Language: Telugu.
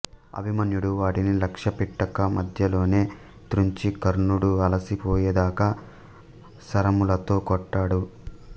అభిమన్యుడు వాటిని లక్ష్యపెట్టక మధ్యలోనే త్రుంచి కర్ణుడు అలసి పోయేదాకా శరములతో కొట్టాడు